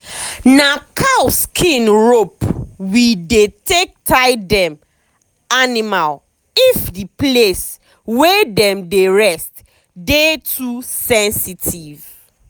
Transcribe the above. na cow skin rope we dey take tie dem animalif the place wey dem dey rest dey too sensitive.